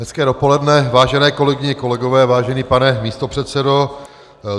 Hezké dopoledne, vážené kolegyně, kolegové, vážený pane místopředsedo.